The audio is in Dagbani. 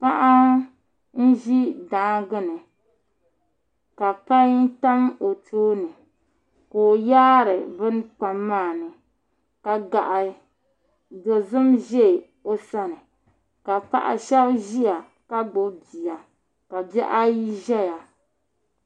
Paɣa n ʒi daangi ni ka pai tam o tooni ka o yaari bini pai maa ni ka gaɣa dozim ʒɛ o sani ka paɣa shab ʒiya ka gbubi bia ka bihi ayi ʒɛya